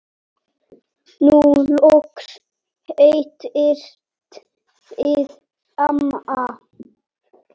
Nú loks hittist þið amma.